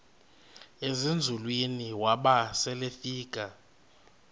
ezinzulwini waba selefika